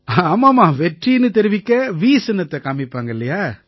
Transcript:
ஆமாமா வெற்றின்னு தெரிவிக்க வி சின்னத்தைக் காமிப்பாங்க இல்லையா